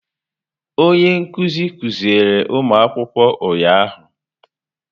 Onye nkuzi kuziri ụmụ akwụkwọ ụnyahụ.